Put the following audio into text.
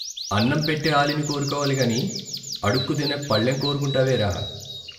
అన్నంపెట్టే ఆలిని కోరుకోవాలిగాని, అడుక్కుతినే పళ్ళెం కోరుకుంటావేరా?